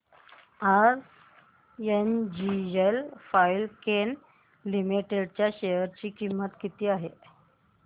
आज NGL Fine Chem Limited च्या share ची किंमत किती आहे